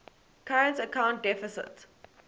current account deficit